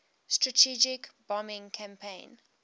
strategic bombing campaign